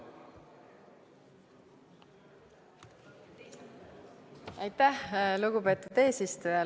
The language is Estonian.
Aitäh, lugupeetud eesistuja!